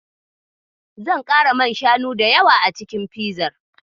Zan ƙara man shanu da yawa a cikin fizar.